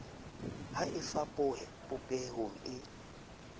ha e fapohe popehong e